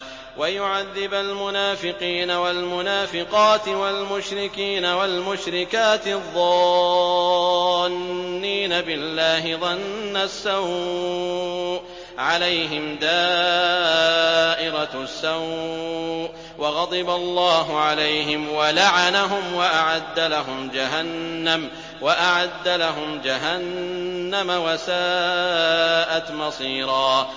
وَيُعَذِّبَ الْمُنَافِقِينَ وَالْمُنَافِقَاتِ وَالْمُشْرِكِينَ وَالْمُشْرِكَاتِ الظَّانِّينَ بِاللَّهِ ظَنَّ السَّوْءِ ۚ عَلَيْهِمْ دَائِرَةُ السَّوْءِ ۖ وَغَضِبَ اللَّهُ عَلَيْهِمْ وَلَعَنَهُمْ وَأَعَدَّ لَهُمْ جَهَنَّمَ ۖ وَسَاءَتْ مَصِيرًا